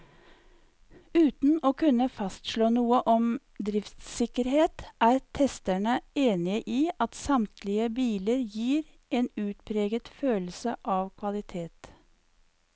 Uten å kunne fastslå noe om driftssikkerhet, er testerne enige i at samtlige biler gir en utpreget følelse av kvalitet.